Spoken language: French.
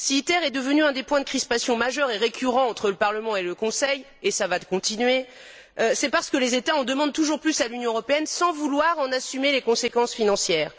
Si ITER est devenu un des points de crispation majeurs et récurrents entre le Parlement et le Conseil ce qui va continuer c'est parce que les États en demandent toujours plus à l'Union européenne sans vouloir en assumer les conséquences financières.